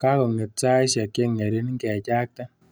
Kakong'et saishek cheng'ering', ngechakte.